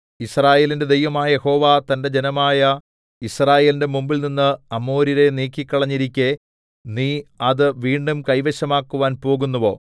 യിസ്രായേലിന്റെ ദൈവമായ യഹോവ തന്റെ ജനമായ യിസ്രായേലിന്റെ മുമ്പിൽനിന്ന് അമോര്യരെ നീക്കിക്കളഞ്ഞിരിക്കെ നീ അത് വീണ്ടും കൈവശമാക്കുവാൻ പോകുന്നുവോ